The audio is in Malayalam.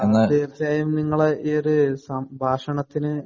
തീര്‍ച്ചയായും നിങ്ങളുടെ ഈ സംഭാഷണത്തിനു